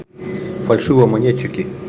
фальшивомонетчики